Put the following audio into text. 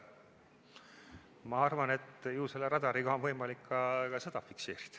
Ma arvan, et ju selle radariga on võimalik ka seda fikseerida.